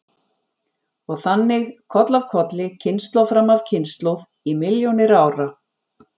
Og þannig koll af kolli, kynslóð fram af kynslóð í milljónir ára.